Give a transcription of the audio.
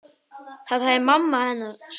Það hafði mamma hennar sagt.